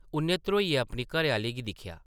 उʼन्नै ध्रोइयै अपनी घरै-आह्ली गी दिक्खेआ ।